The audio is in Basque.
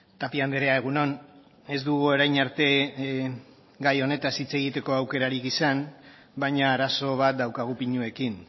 tapia andrea egun on ez dugu orain arte gai honetaz hitz egiteko aukerarik izan baina arazo bat daukagu pinuekin